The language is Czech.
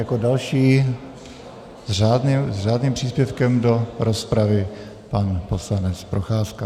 Jako další s řádným příspěvkem do rozpravy pan poslanec Procházka.